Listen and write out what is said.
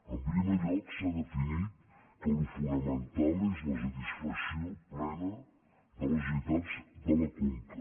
en primer lloc s’ha definit que el fonamental és la satisfacció plena de les necessitats de la conca